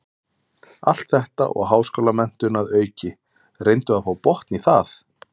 Allt þetta og háskólamenntun að auki, reyndu að fá botn í það.